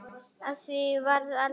Af því varð aldrei.